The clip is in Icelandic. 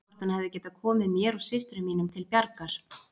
Hvort hann hefði getað komið mér og systrum mínum til bjargar.